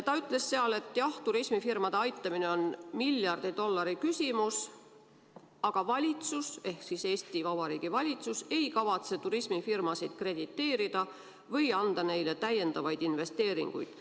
Ta ütles seal, et jah, turismifirmade aitamine on miljardi dollari küsimus, aga Eesti Vabariigi valitsus ei kavatse turismifirmasid krediteerida või anda neile täiendavaid investeeringuid.